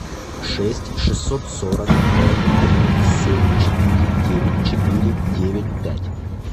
шесть шестьсот сорок ноль три семь четыре девять четыре девять пять